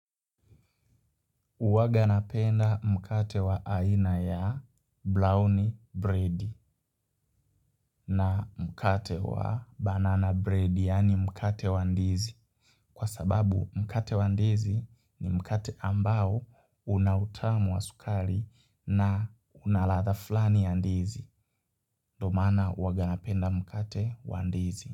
Uwaga napenda mkate wa aina ya brown bread na mkate wa banana bread yaani mkate wa ndizi kwa sababu mkate wa ndizi ni mkate ambao unautamu wa sukali na unaladha flani ya ndizi ndo maana uaganapenda mkate wa ndizi.